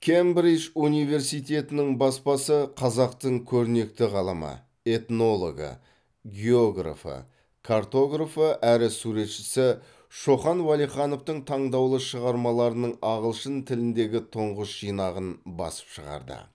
кембридж университетінің баспасы қазақтың көрнекті ғалымы этнологы географы картографы әрі суретшісі шоқан уәлихановтің таңдаулы шығармаларының ағылшын тіліндегі тұңғыш жинағын басып шығарды